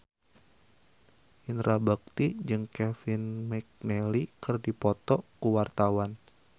Indra Bekti jeung Kevin McNally keur dipoto ku wartawan